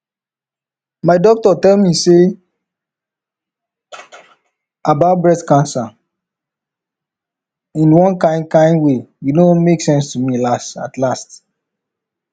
my doctor tell me about breast cancer in one kind kind way you know make sense to me at last